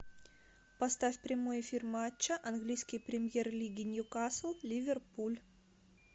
поставь прямой эфир матча английской премьер лиги ньюкасл ливерпуль